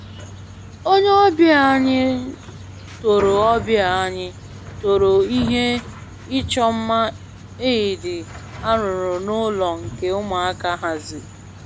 Onye ọbịa anyị toro ọbịa anyị toro ihe ịchọ mma Eid arụrụ n'ụlọ nke ụmụaka haziri